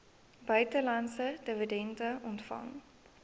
buitelandse dividende ontvang